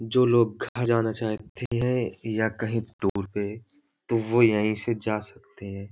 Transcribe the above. जो लोग घर जाना चाहतें हैं या कहीं दूर पे तो वो यहीं से जा सकते हैं।